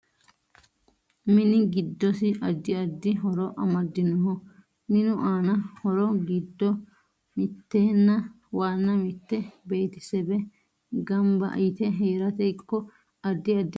Mini giddosi addi addi horo amadinoho minu aano horo giddo mittena waana mitte beetisebe ganba yite heerate ikko addi addi saada heerate lowo horo aano